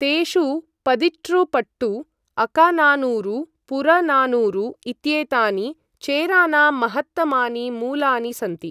तेषु पदिटृपट्टु, अकानानूरु, पुरनानूरु इत्येतानि चेरानां महत्तमानि मूलानि सन्ति।